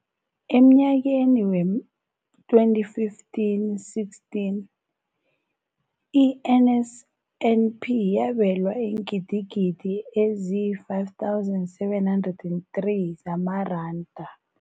Emnyakeni we-2015, 16, i-NSNP yabelwa iingidigidi ezi-5 703 zamaranda.